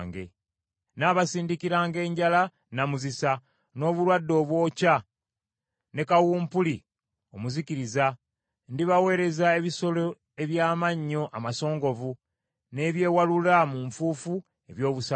Nnaabasindikiranga enjala namuzisa, n’obulwadde obwokya, ne kawumpuli omuzikiriza; ndibaweereza ebisolo eby’amannyo amasongovu n’ebyewalula mu nfuufu eby’obusagwa.